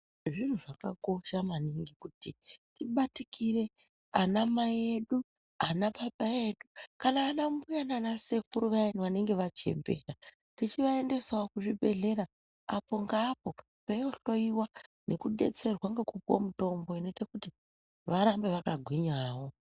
Zviro zvakakosha maningi kuti tibatikire ana mai edu ana baba edu kana ana mbuya nana sekuru vayani vanenge vachembera tichivaendesawo kuzvibhedhlera apo veindohloiwa tichidetserwa kupuwe mitombo varambe vakagwinya.